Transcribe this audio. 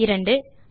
இரண்டாவதாக